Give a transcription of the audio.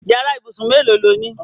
Yàrá ìbúsùn mélòó lo ní?